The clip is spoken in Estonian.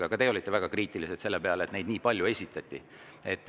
Aga ka teie olite väga kriitilised selle peale, et neid eelnõusid nii palju esitati.